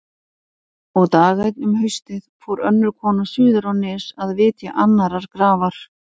Og dag einn um haustið fór önnur kona suður á Nes að vitja annarrar grafar.